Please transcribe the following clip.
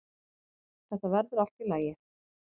Þetta verður allt í lagi.